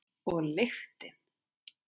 Og lyktin.